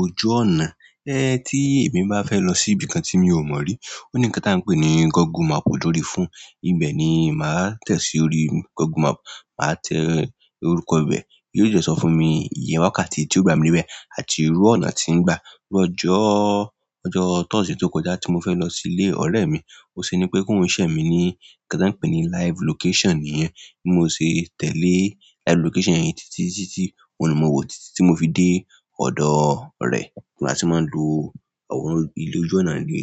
ojú ọ̀nà. Ẹ, ti èmi bá fẹ́ lọ sí ibi tí mi ò mọ̀ rí, ó ní nńkan tí a ń pè ní Google Map lòrí fóònù, ibẹ̀ ni màá tẹ̀sí orí Google Map, màá tẹ orúkọ ibẹ̀, yóò dẹ sọ fún mi ìyè wakátì tí ó gbà mí de ibẹ̀ àti irú ọ̀nà tí ń gba. Iru ọjọ thursday to kọjá ti mo fẹ lọ sile ọrẹ mi, bo se ni pe ko n share mi ni nǹkan tan pe ni live location niyẹn, bi mo se tele live location yẹn titi titi, oun ni mo wo ti mo fe de ọdọ rẹ. Bi a tí màá ń lo àwòrán ile ojú ọ̀nà re.